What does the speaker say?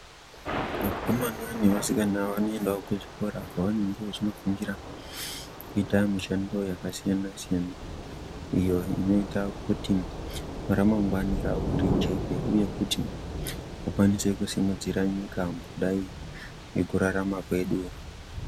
Vakomana nevasikana vanoindao kuzvikora kwavanenge vachindofundira kuita mishando yakasiyana siyana iyo inoita kuti ramangwani ravo rijeke uye kuti vakwanise kusimudzira nyika kudai nekurarama kwedu.